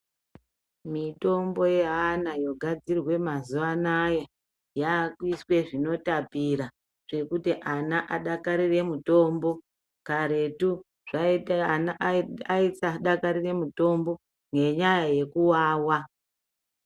Mitombo yeana yogadzirwa mazuwa anaya, yakuiswe zvinotapira zvekuti ana adakarire mitombo. Karetu ana aisadakarire mutombo ngenyaya yekuwawa.